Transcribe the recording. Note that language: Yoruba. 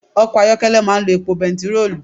Ọkọ̀ máa ń lo epo bẹntiróòlù.